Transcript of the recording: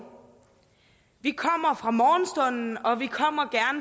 vi kommer fra morgenstunden og vi kommer